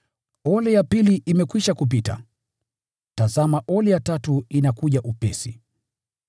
Ole ya pili imekwisha kupita, tazama ole ya tatu inakuja upesi.